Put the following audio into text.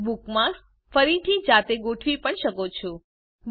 તમે બુકમાર્ક્સ ફરીથી જાતે ગોઠવી પણ શકો છો